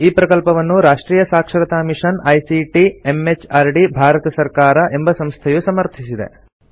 ಈ ಪ್ರಕಲ್ಪವನ್ನು ರಾಷ್ಟ್ರಿಯ ಸಾಕ್ಷರತಾ ಮಿಷನ್ ಐಸಿಟಿ ಎಂಎಚಆರ್ಡಿ ಭಾರತ ಸರ್ಕಾರ ಎಂಬ ಸಂಸ್ಥೆಯು ಸಮರ್ಥಿಸಿದೆ